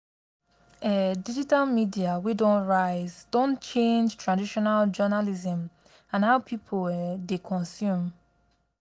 um digital media wey don rise don change traditional journalism and how people um dey consume.